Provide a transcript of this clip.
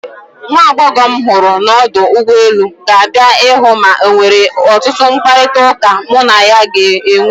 nwa agbọghọ m hụrụ m ọdụ ụgbọ elu, ga-abịa ịhụ m enwere ọtụtụ mkparịta ụka mụ na ya ga-enwe